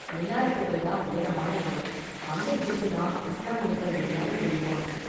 மினாரெட்டுகள் தான் உயரமான இடம், அங்க இருந்து தான் இஸ்லாமியர்கள் எல்லாரும் தொழுவாங்க.